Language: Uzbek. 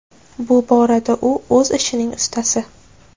Bu borada u o‘z ishining ustasi!